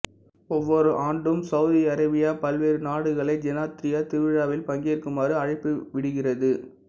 ஒவ்வொரு ஆண்டும் Saudi Arabia பல்வேறு நாடுகளை ஜெனாத்ரியா திருவிழாவில் பங்கேற்குமாறு அழைப்பு விடுக்கிறது